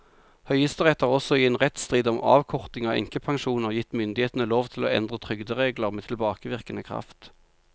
Høyesterett har også i en rettsstrid om avkorting av enkepensjoner gitt myndighetene lov til å endre trygderegler med tilbakevirkende kraft.